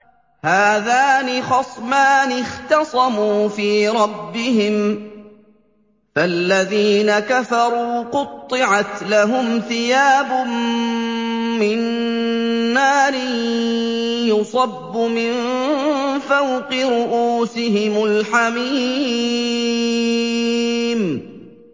۞ هَٰذَانِ خَصْمَانِ اخْتَصَمُوا فِي رَبِّهِمْ ۖ فَالَّذِينَ كَفَرُوا قُطِّعَتْ لَهُمْ ثِيَابٌ مِّن نَّارٍ يُصَبُّ مِن فَوْقِ رُءُوسِهِمُ الْحَمِيمُ